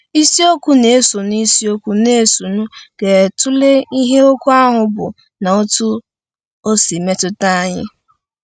Isiokwu na-esonụ Isiokwu na-esonụ ga-atụle ihe okwu ahụ bụ na otú o si emetụta anyị.